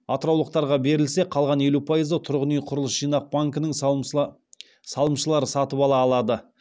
атыраулықтарға берілсе қалған елу пайызы тұрғын үй құрылыс жинақ банкінің салымшылары сатып ала алады